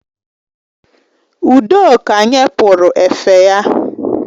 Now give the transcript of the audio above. Udoka nye pụrụ efe ya